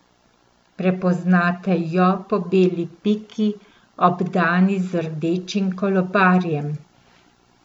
Prepoznate jo po beli piki, obdani z rdečim kolobarjem.